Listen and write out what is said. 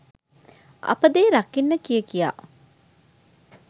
අපේ දේ රකින්න කිය කියා